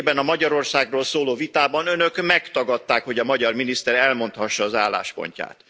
Nemrégiben a Magyarországról szóló vitában önök megtagadták, hogy a magyar miniszter elmondhassa az álláspontját.